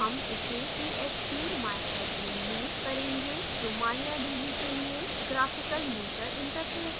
हम इसे phpmyadmin में करेंगे जो mariadb के लिए graphical यूजर interface है